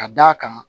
Ka d'a kan